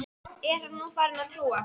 Er hann nú farinn að trúa?